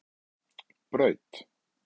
Braut